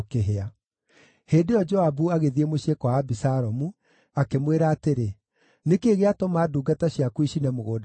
Hĩndĩ ĩyo Joabu agĩthiĩ mũciĩ kwa Abisalomu, akĩmwĩra atĩrĩ, “Nĩ kĩĩ gĩatũma ndungata ciaku icine mũgũnda wakwa?”